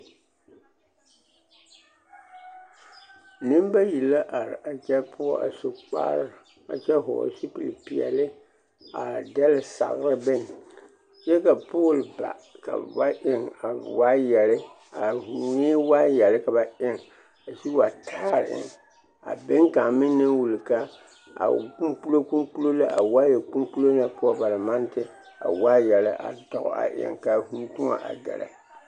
Nembayi la are a kyɛ poɔ a su kpare a kyɛ hɔɔle zupili peɛle a dɛle sagere bone kyɛ ka pooli ba ka ba eŋ waayɛre, a vūūnee waayɛre ka ba eŋ a sigi wa taare eŋ a beŋ kaŋ meŋ naŋ wuli ka a o kpoŋkpolo kpoŋkpolo la k'a waaya kpoŋkpolo na ba naŋ maŋ de a waayɛre a tɔ a eŋ k'a vūū tõɔ a gɛrɛ.